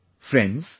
Friends,